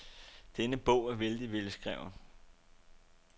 Denne bogen er vældig velskreven.